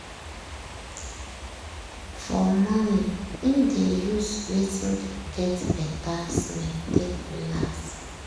fo rmorning im dey use wetin get better smell take relax.